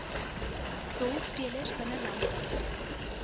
rolspelers binne landbou